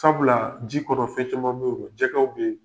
Sabula, ji kɔnɔ fɛn caman bɛ yen , jɛgɛw bɛ yen.